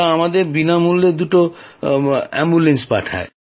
ওরা আমাদের বিনামূল্যে দুটো অ্যাম্বুলেন্সে পাঠায়